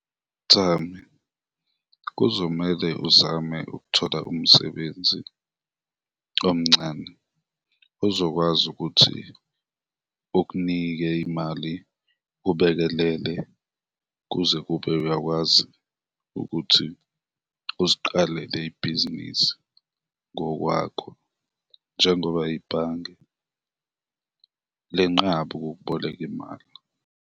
Thami, kuzomele uzame ukuthola umsebenzi omncane, uzokwazi ukuthi ukunike imali ubekelele, kuze kube uyakwazi ukuthi uziqalele ibhizinisi ngokwakho njengoba ibhange lenqaba ukukuboleka imali.